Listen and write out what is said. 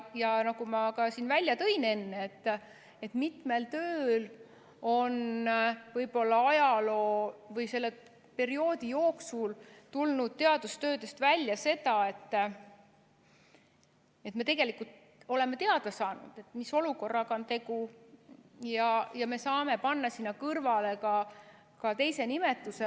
Ja nagu ma siin enne välja tõin, mitme töö puhul on võib-olla ajaloo või selle perioodi jooksul tulnud teadustöödest välja, me oleme teada saanud, mis olukorraga on tegu, ja me saame panna sinna kõrvale ka teise nimetuse.